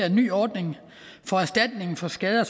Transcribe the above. en ny ordning for erstatning for skader